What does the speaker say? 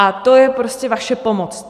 A to je prostě vaše pomoc.